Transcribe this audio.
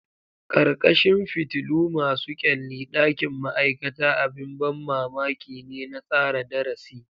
Ƙarƙashin fitilu masu kyalli, ɗakin ma'aikata abin ban mamaki ne na tsara darasi.